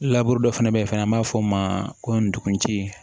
dɔ fɛnɛ be yen fɛnɛ an b'a fɔ o ma ko ndugu ci